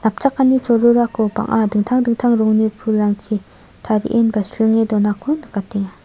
napchakani cholgugako bang·a dingtang dingtang rongni pulrangchi tarienba sringe donako nikatenga.